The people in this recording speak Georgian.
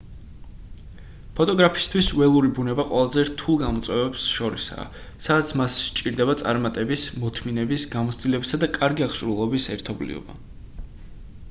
ფოტოგრაფისთვის ველური ბუნება ყველაზე რთულ გამოწვევებს შორისაა სადაც მას სჭირდება წარმატების მოთმინების გამოცდილებისა და კარგი აღჭურვილობის ერთობლიობა